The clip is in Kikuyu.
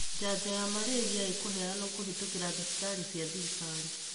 janjo ya malaria ĩkuheanwo kũhĩtũkĩra thĩbitarĩ cia thirikali.